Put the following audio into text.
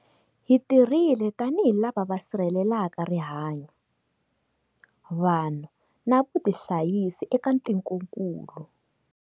Hi tirhile tanihi lava va sirhelelaka rihanyu, vanhu na vutihanyisi eka tikokulu.